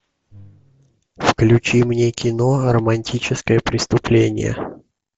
включи мне кино романтическое преступление